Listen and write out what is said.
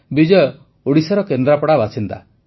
ବିଜୟ ଓଡ଼ିଶାର କେନ୍ଦ୍ରାପଡ଼ା ବାସିନ୍ଦା